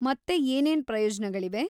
ಮತ್ತೆ ಏನೇನ್ ಪ್ರಯೋಜ್ನಗಳಿವೆ?